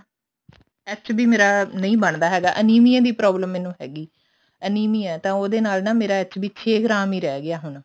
HB ਮੇਰਾ ਨਹੀਂ ਬੰਦਾ ਹੈਗਾ ਅਨੀਮੀਆ ਦੀ problem ਮੈਨੂੰ ਹੈਗੀ ਹੈ ਅਨੀਮੀਆ ਹੈ ਤਾਂ ਉਹਦੇ ਨਾਲ ਮੇਰਾ HB ਚੇ ਗ੍ਰਾਮ ਰਹੀ ਗਿਆ ਹੁਣ